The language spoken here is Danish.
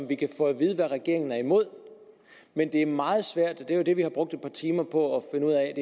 vi kan få at vide hvad regeringen er imod men det er meget svært det er det vi har brugt et par timer på